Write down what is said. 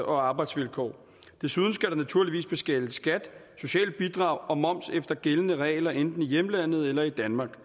arbejdsvilkår desuden skal der naturligvis betales skat sociale bidrag og moms efter gældende regler enten i hjemlandet eller i danmark